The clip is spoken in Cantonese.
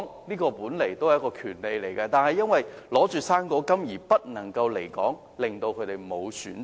離港本來也是一種權利，但他們卻因領取"生果金"而不能離港，令他們沒有選擇。